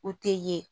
U tɛ ye